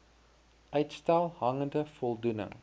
uitstel hangende voldoening